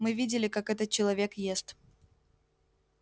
мы видели как этот человек ест